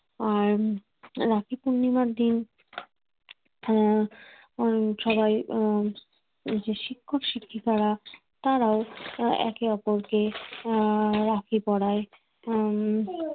আর রাখি পূর্ণিমার দিন আহ উম সবাই আহ শিক্ষক-শিক্ষিকারা তারাও একে অপরকে আহ রাখি পড়ায় উম